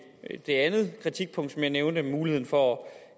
andet kritikpunkt jeg nævnte om muligheden for at